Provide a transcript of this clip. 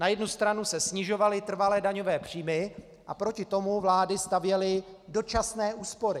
Na jednu stranu se snižovaly trvalé daňové příjmy a proti tomu vlády stavěly dočasné úspory.